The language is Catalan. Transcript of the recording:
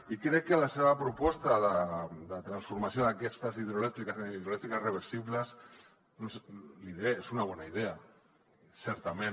i crec que la seva proposta de transformació d’aquestes hidroelèctriques en hidroelèctriques reversibles l’hi diré és una bona idea certament